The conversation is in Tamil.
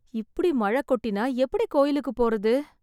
இப்படி மழைக் கொட்டினா எப்படி கோயிலுக்குப் போறது?